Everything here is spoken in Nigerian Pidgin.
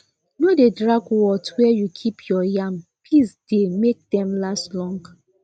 no dey drag words where you keep your yam peace dey make them last long